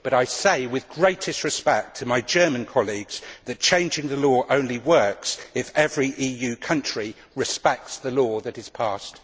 But I say, with the greatest respect to my German colleagues, that changing the law only works if every EU country respects the law that is passed.